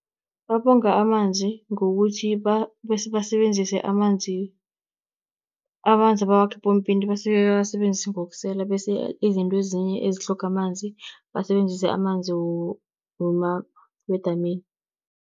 Babonga amanzi ngokuthi basebenzise amanzi, amanzi abawakha epompini basuke bawasebenzise ngokusela. Bese izinto ezinye ezitlhoga amanzi basebenzise amanzi wedamini.